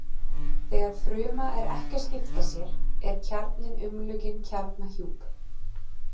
Þegar fruma er ekki að skipta sér er kjarninn umlukinn kjarnahjúp.